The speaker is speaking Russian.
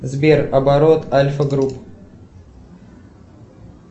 сбер оборот альфа групп